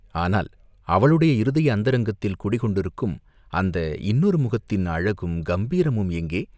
ஆனால் அவளுடைய இருதய அந்தரங்கத்தில் குடிகொண்டிருக்கும் அந்த இன்னொரு முகத்தின் அழகும், கம்பீரமும் எங்கே?